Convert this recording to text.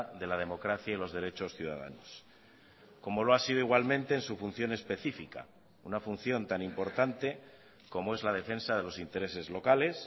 de la democracia y los derechos ciudadanos como lo ha sido igualmente en su función específica una función tan importante como es la defensa de los intereses locales